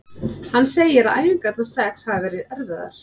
Hann segir að æfingarnar sex hafi verið erfiðar.